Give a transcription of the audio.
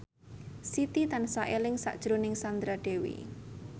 Siti tansah eling sakjroning Sandra Dewi